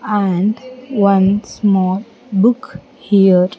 And one small book here --